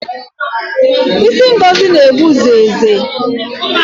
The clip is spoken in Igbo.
Ịsị Ngozi na-egbu zeze